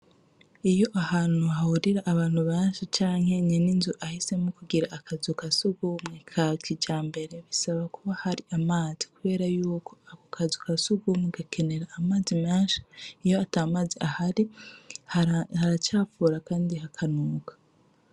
Iyo ahantu hahurira abantu benshi canke iyo nyene inzu ahisemwo kugira akazu ka sugumwe ka kijambere bisaba kuba harimwo amazi kubera yuko ako kazu ka sugumwe gakenera amazi menshi , iyo atamazi ahari haracafura kandi hakanuka.